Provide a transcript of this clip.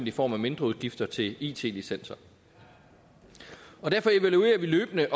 i form af mindre udgifter til it licenser derfor evaluerer vi løbende